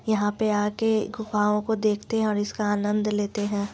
यहा पे आके गुफाओं को देखते हैं और इस का आनंद लेते हैं।